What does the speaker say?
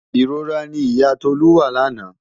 Ìrora ni ìyá Tolú wà lánàá.